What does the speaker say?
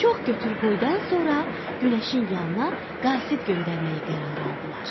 Çox götür qoydan sonra günəşin yanına qasid göndərməyi qərara aldılar.